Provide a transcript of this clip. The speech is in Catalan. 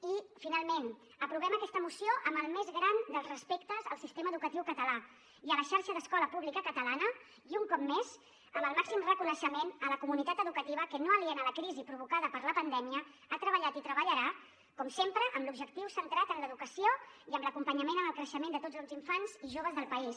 i finalment aprovem aquesta moció amb el més gran dels respectes al sistema educatiu català i a la xarxa d’escola pública catalana i un cop més amb el màxim reconeixement a la comunitat educativa que no aliena a la crisi provocada per la pandèmia ha treballat i treballarà com sempre amb l’objectiu centrat en l’educació i amb l’acompanyament en el creixement de tots els infants i joves del país